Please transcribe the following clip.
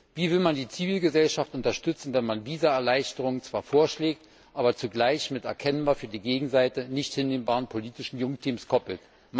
Wie will man die Zivilgesellschaft unterstützen, wenn man Visaerleichterungen zwar vorschlägt, aber zugleich erkennbar mit für die Gegenseite nicht hinnehmbaren politischen Junktims koppelt?